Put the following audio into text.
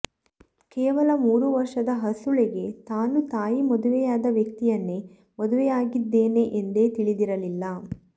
ಕೇವಲ ಮೂರು ವರ್ಷದ ಹಸುಳೆಗೆ ತಾನು ತಾಯಿ ಮದುವೆಯಾದ ವ್ಯಕ್ತಿಯನ್ನೇ ಮದುವೆಯಾಗಿದ್ದೇನೆ ಎಂದೇ ತಿಳಿದಿರಲಿಲ್ಲ